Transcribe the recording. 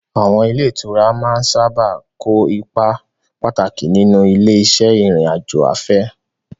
Àwọn ilé ìtura sábà máa ń kó ipa pàtàkì nínú ilé-iṣẹ́ ìrìn-àjò afẹ́.